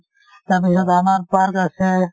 তাৰ পিছত আমাৰ park আছে ।